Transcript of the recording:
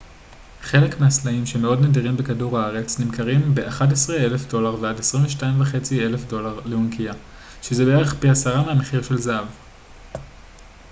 חלק מהסלעים שמאוד נדירים בכדור הארץ נמכרים ב-11,000 דולר ועד 22,500 דולר לאונקיה שזה בערך פי עשרה מהמחיר של זהב